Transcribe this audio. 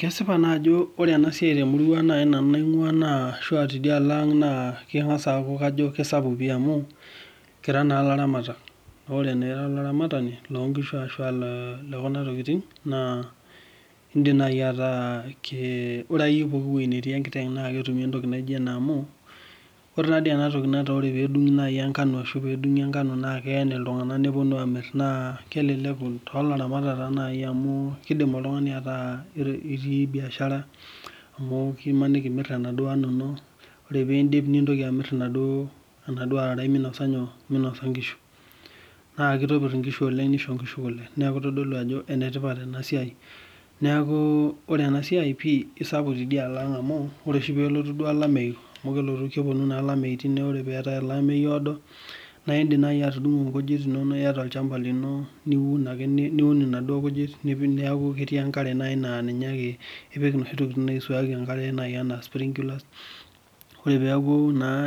Kesipa naa ajo ore ena siaai te murua naai nanu nainguaa naa kangas ajo kisapuk amu Kira naa laramatak, naa ore naa ira olaramatani loo ngishu ashua le kuna tokitin naa idim naai ataa ore akeyie pooki wueeii natii ekiteng naa ketumi entoki naijo ena amuu ore ena toki netaa ore peedungi enkano ashua peedungi enkano naa keen Iltungana nepuonu amirr naa keleleku toolramatak naaii amu keidim naaii oltungani ataa itii biashara amu imaniki imirr enaduoo ano ino ore piidip nitoki amirr enaduoo araraii minosa nyoo ngishu ,naa kitopirr inkishu oleng nisho ngishu Kule neeku itodolu ajo enetipat oleng ena siaai neeku ore ena siaai pii isapuk tidia alo ang amu ore oshi duoo peelotu olameyu amu kelotu naa olameyu ore peetae olameyu oodo naa idim naai atundugu irkujit inonok IATA olshamba lino nigurare niun nena kujit input neeku ketii naai enkare naa ninyaake ipik noshi tokitin naisuaaki enkare naaii enaa spiriculars ore naai peeku